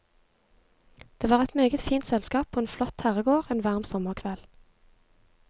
Det var et meget fint selskap på en flott herregård en varm sommerkveld.